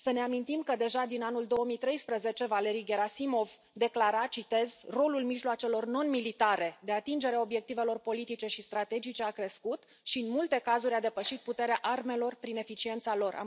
Să ne amintim că, deja din anul 2013, Valeri Gherasimov declara că rolul mijloacelor non militare de atingere a obiectivelor politice și strategice a crescut și, în multe cazuri, a depășit puterea armelor prin eficiența lor.